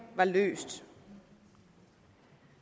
var løst